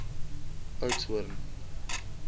oudtshoorn